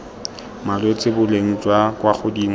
malwetse boleng jwa kwa godimo